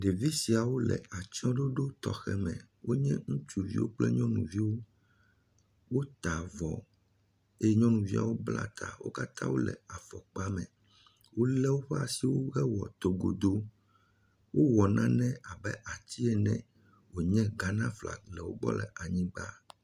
Ɖevi siawo le atsɔɖoɖo tɔxe aɖewo me. Wo nye ŋutsuviwo kple nyɔnuviwo. Wota avɔ eye nyɔnuviawo bla ta. Wo katã wo le afɔkpa me. Wo lé woƒe asiwo heble togodo. Wowɔ nane abe ati ene wonye Ghanaflaga le wo gbɔ le anyi gba.